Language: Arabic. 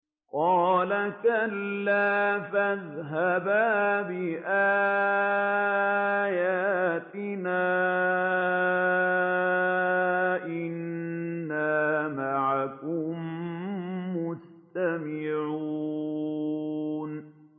قَالَ كَلَّا ۖ فَاذْهَبَا بِآيَاتِنَا ۖ إِنَّا مَعَكُم مُّسْتَمِعُونَ